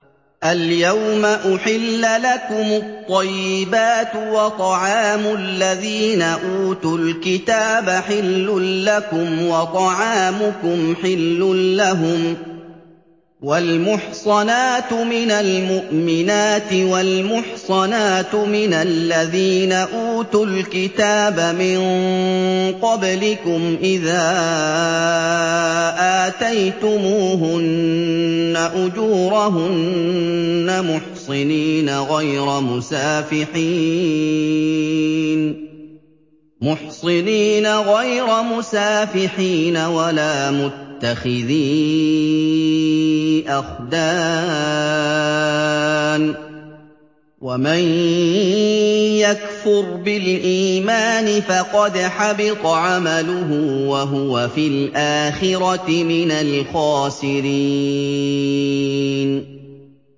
الْيَوْمَ أُحِلَّ لَكُمُ الطَّيِّبَاتُ ۖ وَطَعَامُ الَّذِينَ أُوتُوا الْكِتَابَ حِلٌّ لَّكُمْ وَطَعَامُكُمْ حِلٌّ لَّهُمْ ۖ وَالْمُحْصَنَاتُ مِنَ الْمُؤْمِنَاتِ وَالْمُحْصَنَاتُ مِنَ الَّذِينَ أُوتُوا الْكِتَابَ مِن قَبْلِكُمْ إِذَا آتَيْتُمُوهُنَّ أُجُورَهُنَّ مُحْصِنِينَ غَيْرَ مُسَافِحِينَ وَلَا مُتَّخِذِي أَخْدَانٍ ۗ وَمَن يَكْفُرْ بِالْإِيمَانِ فَقَدْ حَبِطَ عَمَلُهُ وَهُوَ فِي الْآخِرَةِ مِنَ الْخَاسِرِينَ